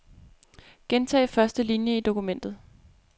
Gentag første linie i dokumentet.